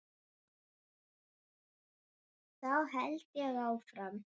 Þá held ég áfram.